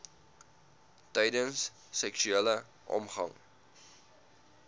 tydens seksuele omgang